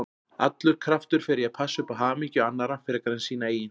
Allur kraftur fer í að passa upp á hamingju annarra frekar en sína eigin.